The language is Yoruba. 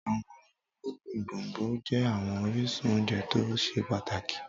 Àwọn irúgbìn gbòǹgbò jẹ́ àwọn orísun oúnjẹ tó ṣe pàtàkì.